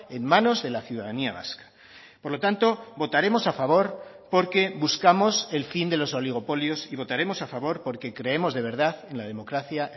en manos de la ciudadanía vasca por lo tanto votaremos a favor porque buscamos el fin de los oligopolios y votaremos a favor porque creemos de verdad en la democracia